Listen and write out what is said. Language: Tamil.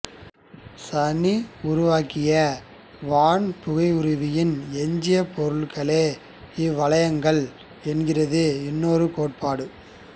சனி உருவாகிய வான்புகையுருவின் எஞ்சிய பொருட்களே இவ்வளையங்கள் என்கிறது இன்னொரு கோட்பாடு